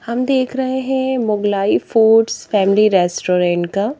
हम देख रहे हैं मुगलाई फूड्स फैमिली रेस्टोरेंट का--